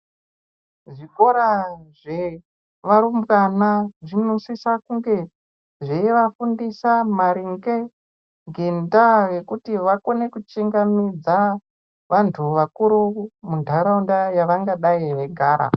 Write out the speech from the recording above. Muzvikora zvevarumbwana zvinosisa kunge zveivafundisa maringe ngendaa yekuti vakone kuchingamidza vantu vakuru muntaraunda yevangadai veigara.